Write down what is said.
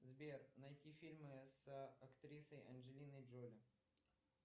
сбер найти фильмы с актрисой анджелиной джоли